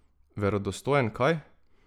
Verodostojen kaj?